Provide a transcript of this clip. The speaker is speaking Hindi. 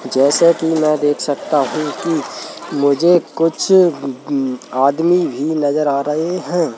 जैसे कि मैं देख सकता हूं कि मुझे कुछ उम्म आदमी भी नजर आ रहे हैं।